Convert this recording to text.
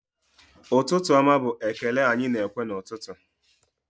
Ụtụtụ ọma bụ ekele anyị na-ekwu n'ụtụtụ